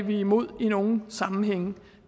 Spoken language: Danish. imod i nogle sammenhænge